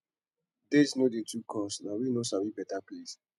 date no dey to cost na we no sabi beta place